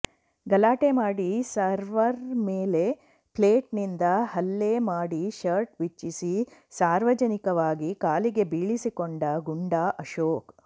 ಗಲಾಟೆ ಮಾಡಿ ಸರ್ವರ್ ಮೇಲೆ ಪ್ಲೇಟ್ ನಿಂದ ಹಲ್ಲೆ ಮಾಡಿ ಶರ್ಟ್ ಬಿಚ್ಚಿಸಿ ಸಾರ್ವಜನಿಕವಾಗಿ ಕಾಲಿಗೆ ಬೀಳಿಸಿಕೊಂಡ ಗುಂಡಾ ಅಶೋಕ್